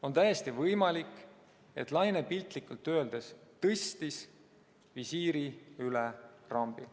On täiesti võimalik, et laine piltlikult öeldes tõstis visiiri üle rambi.